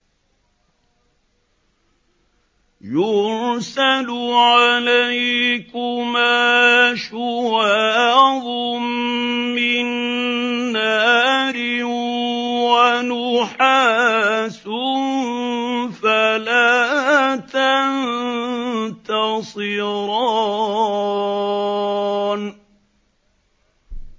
يُرْسَلُ عَلَيْكُمَا شُوَاظٌ مِّن نَّارٍ وَنُحَاسٌ فَلَا تَنتَصِرَانِ